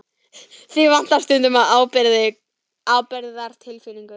Þig vantar stundum alla ábyrgðartilfinningu.